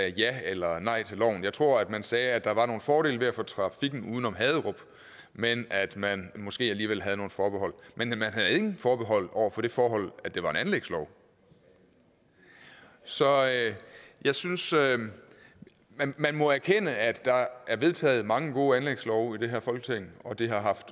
ja eller nej til loven jeg tror at man sagde at der var nogle fordele ved at få trafikken uden om haderup men at man måske alligevel havde nogle forbehold men man havde ingen forbehold over for det forhold at det var en anlægslov så jeg synes at man må erkende at der er vedtaget mange gode anlægslove i det her folketing og det har